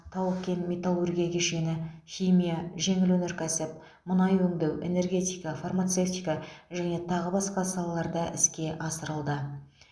тау кен металлургия кешені химия жеңіл өнеркәсіп мұнай өңдеу энергетика фармацевтика және тағы басқа салаларда іске асырылды